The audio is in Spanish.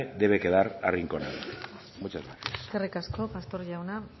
debe quedar arrinconado muchas gracias eskerrik asko pastor jauna